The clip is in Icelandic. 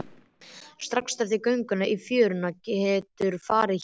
Strax eftir gönguna í fjörunni geturðu farið héðan.